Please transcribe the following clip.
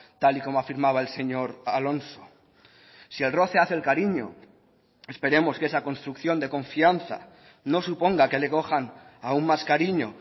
tal y como afirmaba el señor alonso si el roce hace el cariño esperemos que esa construcción de confianza no suponga que le cojan aun más cariño